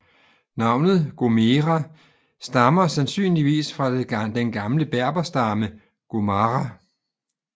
Navnet Gomera stammer sandsynligvis fra den gamle berberstamme Ghomara